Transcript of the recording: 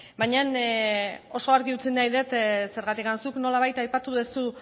baina oso argi utzi nahi dut zergatik zuk nolabait aipatu duzu